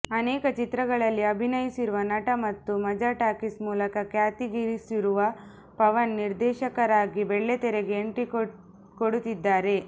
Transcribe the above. ಅನೇಕ ಚಿತ್ರಗಳಲ್ಲಿ ಅಭಿನಯಿಸಿರುವ ನಟ ಮತ್ತು ಮಜಾ ಟಾಕೀಸ್ ಮೂಲಕ ಖ್ಯಾತಿಗಿಸಿರುವ ಪವನ್ ನಿರ್ದೇಶಕರಾಗಿ ಬೆಳ್ಳಿತೆರೆಗೆ ಎಂಟ್ರಿ ಕೊಡುತ್ತಿದ್ದಾರೆ